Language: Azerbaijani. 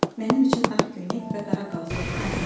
Mənim üçün ağ köynək və qara qalstuk hazırlayın.